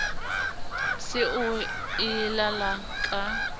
se o e lala ka